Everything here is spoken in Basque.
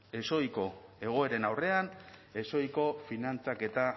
ezohiko egoeren aurrean ezohiko finantzaketa